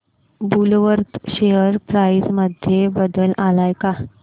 Woolworth share price मध्ये बदल आलाय का